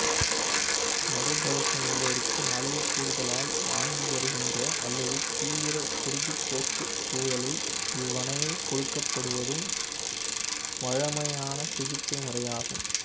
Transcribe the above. மதுப்பழக்கம் உள்ளோருக்கு அளவு கூடுதலால் வாந்தி வருகின்ற அல்லது தீவிர குருதிப்போக்கு சூழலில் இவ்வாணை கொடுக்கப்படுவதும் வழமையான சிகிச்சை முறையாகும்